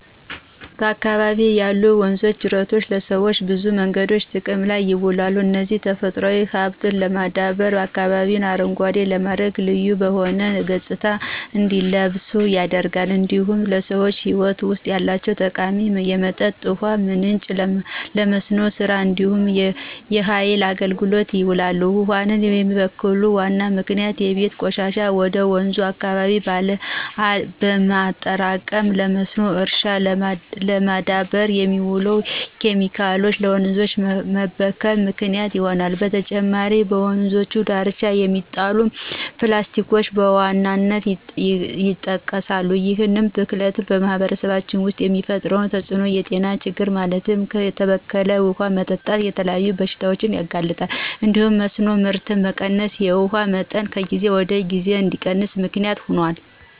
በአካባቢያችን ያሉ ወንዞችና ጅረቶች ለሰዎች በብዙ መንገዶች ጥቅም ላይ ይውላሉ፣ እነዚህም የተፈጥሮ ሀብቶችን በማዳበር አካባቢውን አረንጓዴ በማድረግ ልዩ የሆነ ገፅታ እንዲላበስ ያደርጉታል። እንዲሁም በሰዎች ህይወት ውስጥ ያላቸው ጠቀሜታ የመጠጥ ውሃ ምንጭ፣ ለመስኖ ስራ እንዲሁም ለሃይል አገልግሎት ይውላል። ውሃውን የሚበክሉ ዋና ምክንያቶች የቤት ቆሻሻን ወደ ወንዙ አካባቢ በማጠራቀም፣ ለመስኖ እርሻ ለማዳበር የሚውሉ ኬሚካሎች ለወንዞች መበከል ምክንያት ይሆናሉ። በተጨማሪም በወንዙ ዳርቻ የሚጣሉ ፕላስቲኮችን በዋናነት ይጠቀሳሉ። ይህ ብክለት በማህበረሰባችን ውስጥ የሚፈጥረው ተፅዕኖ የጤና ችግር ማለትም የተበከለ ውሃ በመጠጣት ለተለያዩ በሽታዎች ያጋልጣል እንዲሁም የመስኖ ምርት መቀነስና የውሃው መጠን ከጊዜ ወደ ጊዜ እንዲቀንስ ምክንያት ይሆናል።